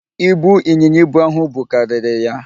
Ibu ịnyịnya ibu ahụ bu karịrị ya.